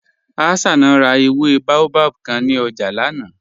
Hassana rà èwé bàòbáb kàn ní ọ̀jà lánà.